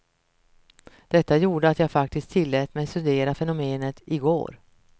Detta gjorde att jag faktiskt tillät mig studera fenomenet i går.